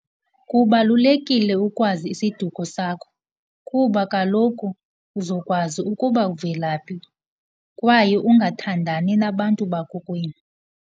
Kubalulekile ukwazi isiduko sakho kuba kaloku uzokwazi ukuba uvela phi kwaye ungathandani nabantu bakokwenu.